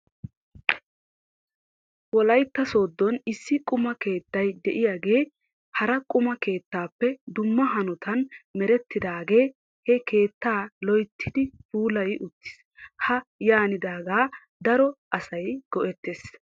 Wolaytta sooddon issi quma keettay diyaagee hara quma keettaappe dumma hanotan merettidaagee he keettaa loyttidi puulayi uttis. Ha yaanidaagaakka daro asay go'ettes.